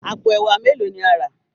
àpò ẹwà melo ní a rà?